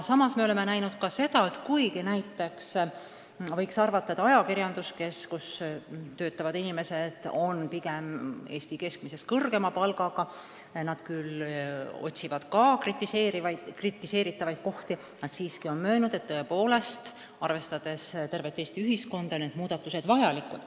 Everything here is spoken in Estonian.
Samas oleme näinud ka seda, et kuigi võiks arvata, et ajakirjandus, kus inimesed töötavad pigem Eesti keskmisest kõrgema palga eest, küll otsib ka kritiseeritavaid kohti, aga on siiski möönnud, et tõepoolest, arvestades tervet Eesti ühiskonda, on need muudatused vajalikud.